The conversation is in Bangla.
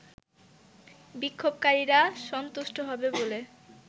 বিক্ষোভকারীরা সন্তুষ্ট হবে বলে